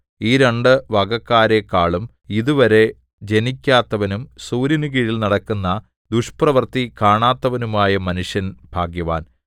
ഈ രണ്ടു വകക്കാരെക്കാളും ഇതുവരെ ജനിക്കാത്തവനും സൂര്യനുകീഴിൽ നടക്കുന്ന ദുഷ്പ്രവൃത്തി കാണാത്തവനുമായ മനുഷ്യൻ ഭാഗ്യവാൻ